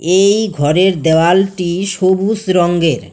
এই ঘরের দেওয়ালটি সবুজ রঙ্গের ।